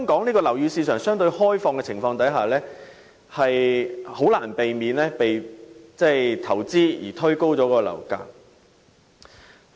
在樓宇市場相對開放的情況下，香港的樓價自然無可避免地因投資而被推高。